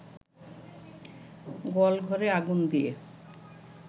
গোয়াল ঘরে আগুন দিয়ে